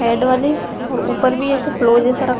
head वाली ऊपर भी ऐसा फ्लो जैसा रखा --